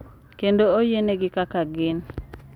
Kendo oyienegi kaka gin.